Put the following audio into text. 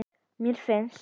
mér finnst